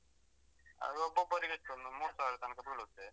ಅದು ಒಬ್ಬೊಬ್ಬರಿಗೆಷ್ಟು ಒಂದು ಮೂರ್ ಸಾವ್ರ ತನಕ ಬೀಳುತ್ತೆ.